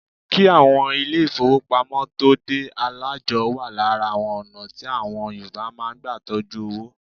Kí àwọn ilé ìfọwọ́pamo tóo dé, alájọ́ wa lára àwọn ọ̀nà tí àwọn Yorùbá má ń gbà tọjú owó.